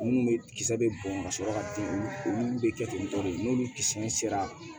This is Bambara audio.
Minnu bɛ kisɛ bɛ bɔn ka sɔrɔ ka den olu bɛ kɛ ten tɔ de n'olu kisɛ sera